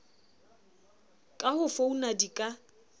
ka ho founa di ka